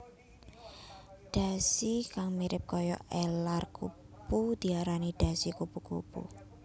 Dhasi kang mirip kaya elar kupu diarani dhasi kupu kupu